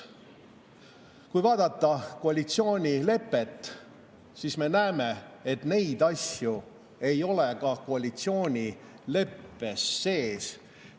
Kui vaadata koalitsioonilepet, siis me näeme, et neid asju ei ole ka koalitsioonileppes sees.